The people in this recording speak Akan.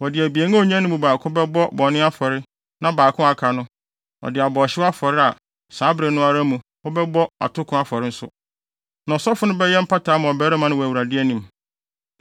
Wɔde abien a onyae no mu baako bɛbɔ bɔne afɔre na baako a aka no, ɔde abɔ ɔhyew afɔre a saa bere no ara mu wɔbɛbɔ atoko afɔre nso, na ɔsɔfo no bɛyɛ mpata ama ɔbarima no wɔ Awurade anim.”